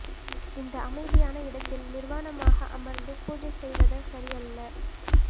இந்த அமைதியான இடத்தில் நிர்வாணமாக அமர்ந்து பூஜை செய்வத சரியல்ல